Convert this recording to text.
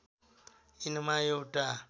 यिनमा एउटा